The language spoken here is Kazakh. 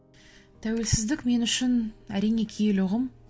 тәуелсіздік мен үшін әрине киелі ұғым